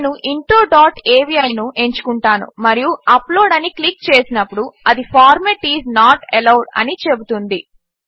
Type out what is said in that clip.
నేను intro dot అవి ఎంచుకుంటాను మరియు అప్లోడ్ అని క్లిక్ చేసినప్పుడు అది ఫార్మాట్ ఐఎస్ నోట్ అలోవెడ్ అని చెబుతుంది